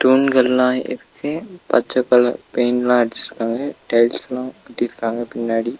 தூண்கல்லா இருக்கு பச்ச கலர் பெயிண்ட்லா அடிச்சுருக்காங்க டைல்ஸ்லா ஒட்டிருக்காங்க பின்னாடி.